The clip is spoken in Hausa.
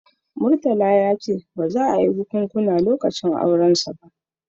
Murtala ya ce ba za a yi bikunkuna lokacin aurensa ba